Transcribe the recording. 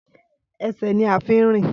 Ẹsẹ̀ ní a fí ń rìn